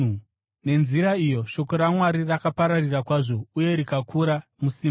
Nenzira iyi shoko raMwari rakapararira kwazvo uye rikakura musimba.